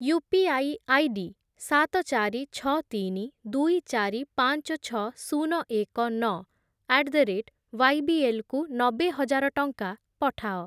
UPI ID ସାତ, ଚାରି, ଛଅ, ତିନି, ଦୁଇ, ଚାରି, ପାଞ୍ଚ, ଛଅ, ଶୂନ, ଏକ, ନଅ ଆଟ୍ ଦ ରେଟ୍ ୱାଇବିଏଲ୍ କୁ ନବେ ହଜାର ଟଙ୍କା ପଠାଅ।